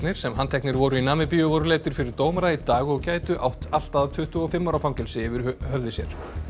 sem handteknir voru í Namibíu voru leiddir fyrir dómara í dag og gætu átt allt að tuttugu og fimm ára fangelsi yfir höfði sér